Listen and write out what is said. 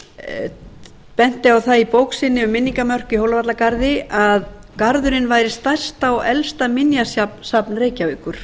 hann benti á það í bók sinni um minningamörkin í hólavallagarði að garðurinn væri stærsta og elsta minjasafn reykjavíkur